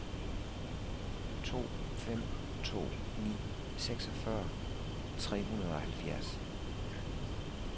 to fem to ni seksogfyrre tre hundrede og halvfjerds